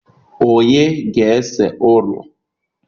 Onye ga-ese ụlọ